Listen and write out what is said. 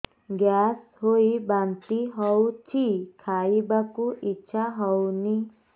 gas ହୋଇ ବାନ୍ତି ହଉଛି ଖାଇବାକୁ ଇଚ୍ଛା ହଉନି